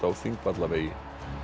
á Þingvallavegi